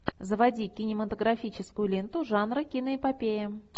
заводи кинематографическую ленту жанра киноэпопея